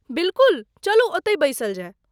बिलकुल! चलू ओतहि बैसल जाय।